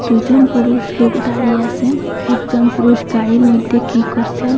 দুজন পুরুষ লুক দাঁড়িয়ে আসেন একজন পুরুষ গাড়ির মইধ্যে কী করসেন।